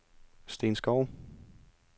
Steen Schou